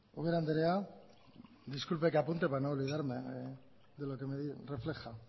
ubera andrea disculpe que apunte para no olvidarme de lo que me refleja